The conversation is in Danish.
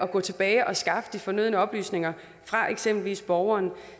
går tilbage og skaffer de fornødne oplysninger fra eksempelvis borgeren